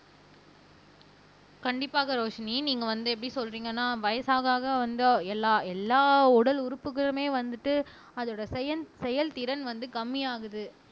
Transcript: கண்டிப்பாக ரோஷினி நீங்க வந்து எப்படி சொல்றீங்கன்னா வயசு ஆக ஆக வந்து எல்லா எல்லா உடல் உறுப்புகளுமே வந்துட்டு அதோட செயல் செயல்திறன் வந்து கம்மியாகுது